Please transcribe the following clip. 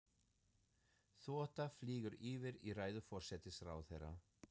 Þota flýgur yfir í ræðu forsætisráðherra.